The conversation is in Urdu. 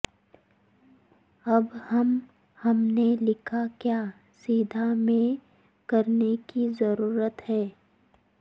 اب ہم ہم نے لکھا کیا سیدھ میں کرنے کی ضرورت ہے